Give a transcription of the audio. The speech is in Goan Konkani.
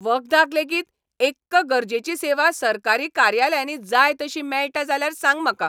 वखदाक लेगीत एक्क गरजेची सेवा सरकारी कार्यालयांनी जाय तशी मेळटा जाल्यार सांग म्हाका.